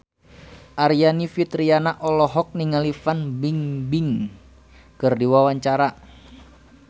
Aryani Fitriana olohok ningali Fan Bingbing keur diwawancara